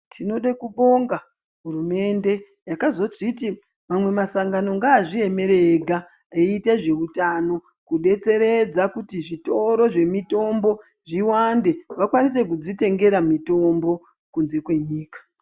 Tinode kubonga hurumende yakazozviti mamwe masangano ngaazviemere ega eiite zveutano kudetseredza kuti zvitoro zvemitombo zviwande vakwanise kudzitengera mitombo kunze kwenyika.